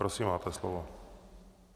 Prosím, máte slovo.